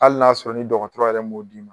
Hali n'a sɔrɔ ni dɔgɔtɔrɔ yɛrɛ m'o d'i ma